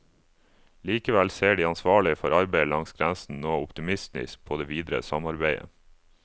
Likevel ser de ansvarlige for arbeidet langs grensen nå optimistisk på det videre samarbeidet.